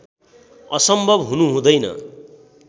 असम्भव हुनु हुँदैन